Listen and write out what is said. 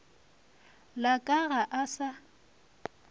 la ka ga a sa